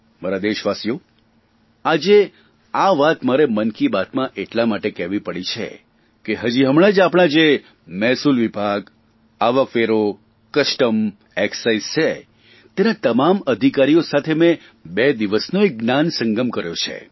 મારા દેશવાસીઓ આજ આ વાત મારે મન કી બાતમાં એટલા માટે કહેવી પડી છે કે હજી હમણાં જ આપણા જે મહેસૂલ વિભાગઆવકવેરો કસ્ટમ એકસાઇઝ છે તેના તમામ અધિકારીઓ સાથે મેં બે દિવસનો એક જ્ઞાનસંગમ કર્યો છે